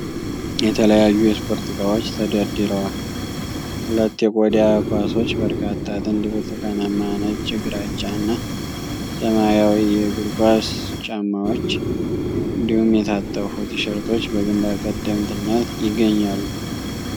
የተለያዩ የስፖርት እቃዎች ተደርድረዋል። ሁለት የቆዳ ኳሶች፣ በርካታ ጥንድ ብርቱካናማ፣ ነጭ፣ ግራጫ እና ሰማያዊ የእግር ኳስ ጫማዎች፣ እንዲሁም የታጠፉ ቲሸርቶች በግንባር ቀደምትነት ይገኛሉ።